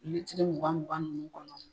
mugan mugan nunnu kɔnɔ